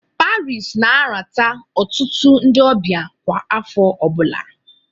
Paris na-alata ọtụtụ ndị ọbịa kwa afọ ọbụla